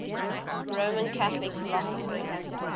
roman catholic philosophers